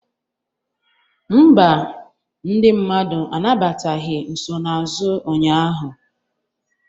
Mba, ndị mmadụ anabataghị nsonaazụ ụnyaahụ.